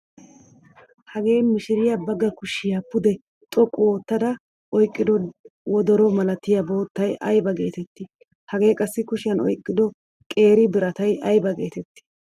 Hagee mishiriya baagaa kushiya pude xoqqu oottaada oyqqido wodoro malatiya boottay ayba geetetti?. Hagee qassi kushiyan oyqqido qeeri biratay ayba geetetti?.